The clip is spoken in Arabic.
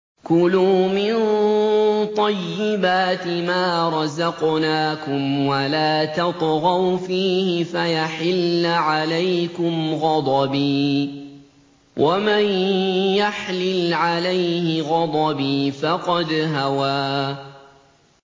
كُلُوا مِن طَيِّبَاتِ مَا رَزَقْنَاكُمْ وَلَا تَطْغَوْا فِيهِ فَيَحِلَّ عَلَيْكُمْ غَضَبِي ۖ وَمَن يَحْلِلْ عَلَيْهِ غَضَبِي فَقَدْ هَوَىٰ